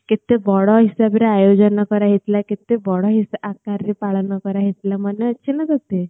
କେତେ ବଡ ହିସାବରେ ଆୟୋଜନ କରାଯାଇଥିଲା କେତେ ହିସା ବଡ ଆକାରରେ ପାଳନ କରାଯାଇଥିଲା ମନେଅଛି ନା ତତେ